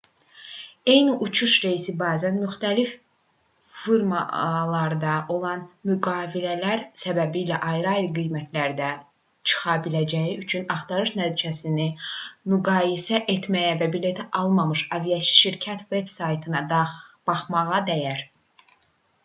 eyni uçuş reysi bəzən müxtəlif firmalarla olan müqavilələr səbəbilə ayrı-ayrı qiymətlərdə çıxa biləcəyi üçün axtarış nəticələrini müqayisə etməyə və bileti almamış aviaşirkətin veb-saytına baxmağa dəyər